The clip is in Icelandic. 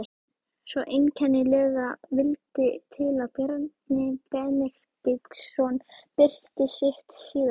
Svo einkennilega vildi til að Bjarni Benediktsson birti sitt síðasta